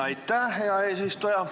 Aitäh, hea eesistuja!